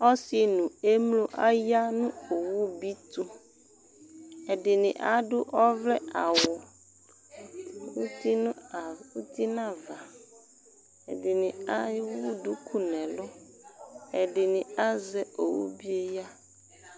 Ɔsi nʋ emlo aya nʋ owubi tʋ, ɛdini adʋ ɔvlɛ awʋ uti n'ava Ɛdini ewu duku n'ɛlʋ, ɛdini azɛ owubi yɛ ya